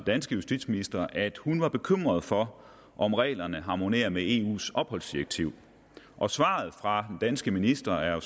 danske justitsminister at hun er bekymret for om reglerne harmonerer med eus opholdsdirektiv og svaret fra den danske minister er